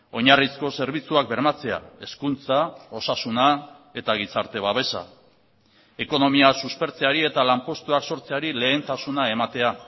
oinarrizko zerbitzuak bermatzea hezkuntza osasuna eta gizarte babesa ekonomia suspertzeari eta lanpostuak sortzeari lehentasuna ematea